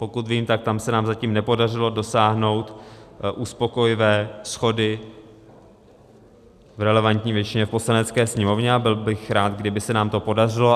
Pokud vím, tak tam se nám zatím nepodařilo dosáhnout uspokojivé shody v relevantní většině v Poslanecké sněmovně, a byl bych rád, kdyby se nám to podařilo.